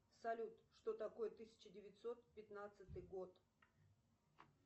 салют что такое тысяча девятьсот пятнадцатый год